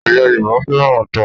Ẹ̀yà Yorùbá fẹ́ràn ata.